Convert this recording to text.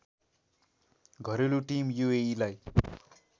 घरेलु टिम युएइलाई